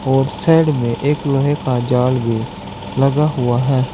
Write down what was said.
Outside में एक लोहे का जाल भी लगा हुआ है।